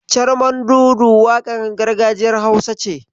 Carmandudu waƙar gargajiyar Hausa ce.